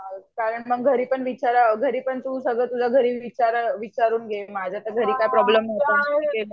कारण मग घरी पण घरी पण तू तुझ्या विचारून घे. माझ्या घरी तर काय प्रोब्लेम नाही